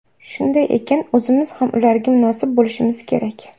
Shunday ekan, o‘zimiz ham ularga munosib bo‘lishimiz kerak.